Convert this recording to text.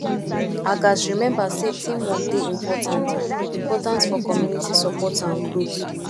i gats remember say teamwork dey important important for community support and growth